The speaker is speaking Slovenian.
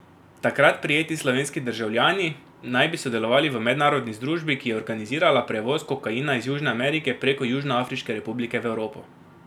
Takrat prijeti slovenski državljani naj bi sodelovali v mednarodni združbi, ki je organizirala prevoz kokaina iz Južne Amerike prek Južnoafriške republike v Evropo.